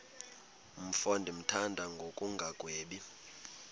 mfo ndimthanda ngokungagwebi